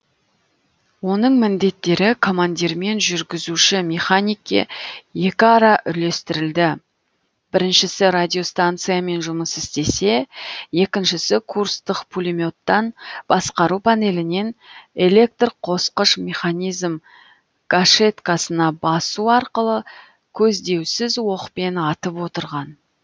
оның міндеттері командирмен жүргізуші механикке екіара үлестірілді біріншісі радиостанциямен жұмыс істесе екіншісі курстық пулеметтан басқару панелінен электрқосқыш механизм гашеткасына басу арқылы көздеусіз оқпен атып отырған